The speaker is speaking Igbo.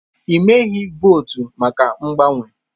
Ị meghị votu maka mgbanwe.